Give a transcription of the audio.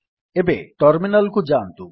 ଏବେ ଟର୍ମିନାଲ୍ କୁ ଯାଆନ୍ତୁ